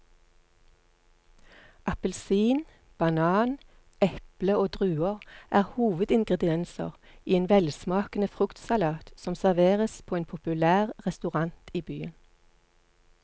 Appelsin, banan, eple og druer er hovedingredienser i en velsmakende fruktsalat som serveres på en populær restaurant i byen.